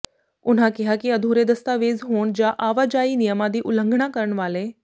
ਉਨ੍ਹਾਂ ਕਿਹਾ ਕਿ ਅਧੂਰੇ ਦਸਤਾਵੇਜ਼ ਹੋਣ ਜਾਂ ਆਵਾਜਾਈ ਨਿਯਮਾਂ ਦੀ ਉਲੰਘਣਾ ਕਰਨ ਵਾਲੇ